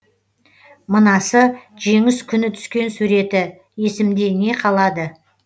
мынасы жеңіс күні түскен суреті есімде не қалады